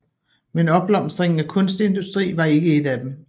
Men opblomstringen af kunstindustri var ikke et af dem